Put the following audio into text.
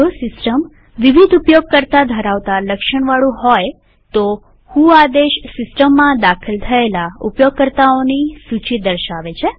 જો સીસ્ટમ વિવિધ ઉપયોગકર્તામલ્ટીયુઝર ધરાવતા લક્ષણવાળું હોય તો વ્હો આદેશ સિસ્ટમમાં દાખલ થયેલા ઉપયોગકર્તાઓની સૂચી દર્શાવે છે